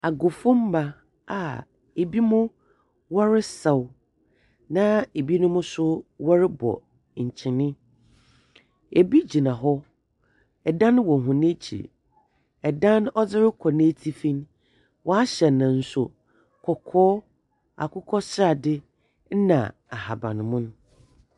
Agufo mma a ebinom wɔresa na ɛbinom nso wɔrebɔ ntwene. Ebi gyina hɔ. Ɛdan wɔ wɔn akyi. Ɛdan no ɛrekɔ n'atifi, w'ahyɛ ne nso kɔkɔɔ, akokɔsrade na ahabammono.